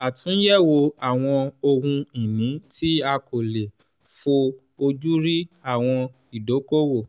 àtúnyẹ̀wò àwọn ohun ìní tí a kò lè fó ojú rí àwọn ìdókòwò.